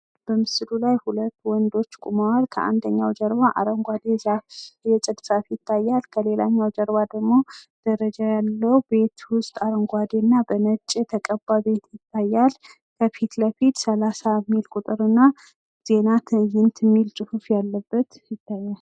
በምስሉ ላይ ሁለት ወንዶች ቁመዋል። ከአንደኛው ጀርባ አረጓዴ ዛፍ የፅድ ዛፍ ይታያል። ከሌላኛው ጀርባ ደሞ ደረጃ ካለው ቤት ውስጥ አረጓዴና በነጭ የተቀባ ቤት ይታያል። ከፊት ለፊት 30 የሚል ቁጥርና ዜና ትይንት የሚል ፅሁፍ ያለበት ይታያል።